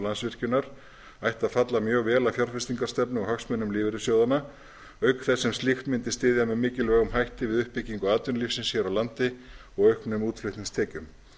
landsvirkjunar ætti að falla mjög vel að fjárfestingarstefnu og hagsmunum lífeyrissjóðanna auk þess sem slíkt mundi styðja með mikilvægum hætti við uppbyggingu atvinnulífsins hér á landi og auknum útflutningstekjum